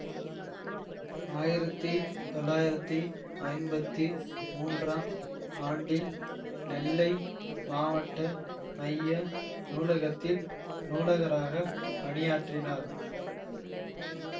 ஆயிரத்தி தொளாயிரத்தி ஐம்பத்தி மூன்றாம் ஆண்டில் நெல்லை மாவட்ட மைய நூலகத்தில் நூலகராகப் பணியாற்றினார்